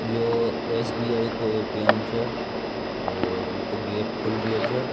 यो एस.बी.आई. को ए.टी.एम. छे और इ को गेट खुल रियो छे।